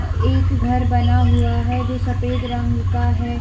अ एक घर बना हुआ है जो सफ़ेद रंग का है।